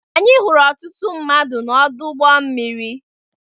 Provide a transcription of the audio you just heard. Anyị hụrụ ọtụtụ mmadụ n'ọdụ ụgbọ mmiri.